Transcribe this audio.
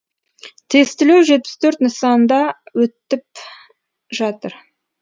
тестілеу жетпіс төрт нысанда өтіп жатыр